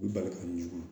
U bali ka ɲɔgɔn